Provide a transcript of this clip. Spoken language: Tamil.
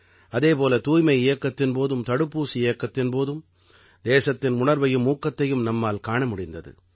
அதே போல தூய்மை இயக்கத்தின் போதும் தடுப்பூசி இயக்கத்தின் போதும் தேசத்தின் உணர்வையும் ஊக்கத்தையும் நம்மால் காண முடிந்தது